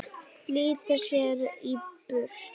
Flýta sér í burtu.